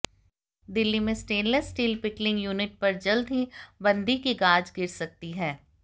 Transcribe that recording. दिल्ली में stainless steel pickling unit पर जल्द ही बंदी की गाज गिर सकती है